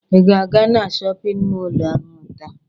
Ị ga-aga na shọpịn mọlụ ahụ taa?